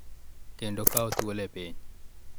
Kendo kawo thuolo e piny